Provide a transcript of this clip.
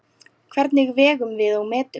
Hvernig vegum við og metum?